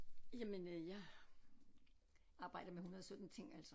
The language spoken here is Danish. Jamen øh jeg arbejder med 117 ting altså